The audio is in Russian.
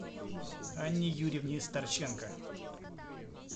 анне юрьевне старченко